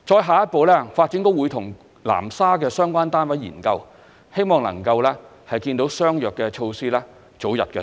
下一步，發展局會與南沙的相關單位研究，希望能夠早日推出相約的措施。